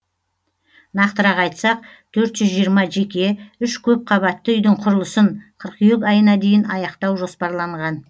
нақтырақ айтсақ төрт жүз жиырма жеке үш көпқабатты үйдің құрылысын қыркүйек айына дейін аяқтау жоспарланған